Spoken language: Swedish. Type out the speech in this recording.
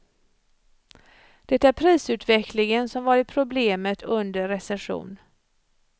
Det är prisutvecklingen som varit problemet under recession.